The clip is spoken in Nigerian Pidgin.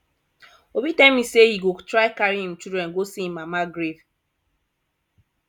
obi tell me say he go try carry im children go see im mama grave